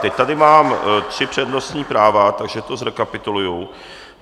Teď tady mám tři přednostní práva, takže to zrekapituluji.